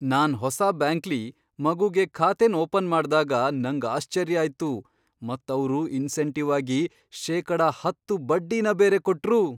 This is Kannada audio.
ನಾನ್ ಹೊಸ ಬ್ಯಾಂಕ್ಲಿ ಮಗುಗೆ ಖಾತೆನ್ ಓಪನ್ ಮಾಡ್ದಾಗ ನಂಗ್ ಆಶ್ಚರ್ಯ ಆಯ್ತು ಮತ್ ಅವ್ರು ಇನ್ಸೆಂಟಿವ್ ಆಗಿ ಶೇಕಡ ಹತ್ತು ಬಡ್ಡಿನ ಬೇರೆ ಕೊಟ್ರು.